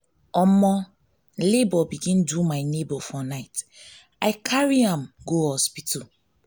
labor begin do my neighbour for night i carry am carry am go hospital.